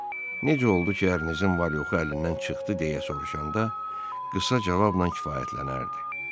Ondan necə oldu ki, ərinizin var-yoxu əlindən çıxdı deyə soruşanda, qısa cavabla kifayətlənərdi.